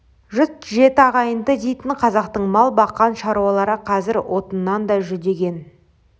жұт жеті ағайынды дейтін қазақтың мал баққан шаруалары қазір отыннан да жүдеген